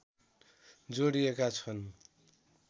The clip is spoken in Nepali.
जोडिएका छन्